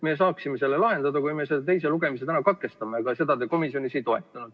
Me saaksime selle lahendada, kui me teise lugemise täna katkestaksime, aga seda te komisjonis ei toetanud.